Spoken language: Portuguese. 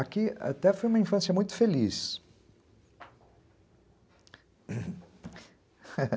Aqui até foi uma infância muito feliz.